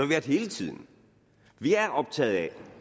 været hele tiden vi er optaget af